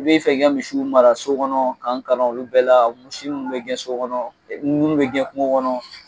I be fɛ k'i ka misiw mara so kɔnɔ ka n kalan olu bɛɛ la misi munnu be gɛn so kɔnɔ ɛ munnu be gɛn kungo kɔnɔ